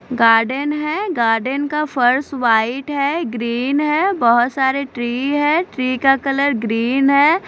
Garden है garden का फर्श वाइट है ग्रीन है बहोत सारे ट्री है ट्री का कलर ग्रीन है।